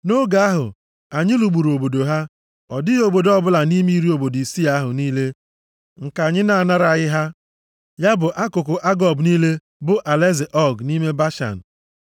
Nʼoge ahụ, anyị lụgburu obodo ya. Ọ dịghị obodo ọbụla nʼime iri obodo isii ahụ niile nke anyị na-anaraghị ha, ya bụ akụkụ Agob niile bụ alaeze Ọg nʼime Bashan.